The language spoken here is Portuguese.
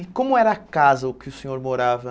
E como era a casa o que o senhor morava?